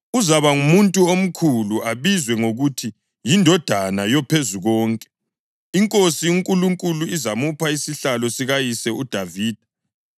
Uzaba ngumuntu omkhulu abizwe ngokuthi yiNdodana yoPhezukonke. INkosi uNkulunkulu izamupha isihlalo sikayise uDavida,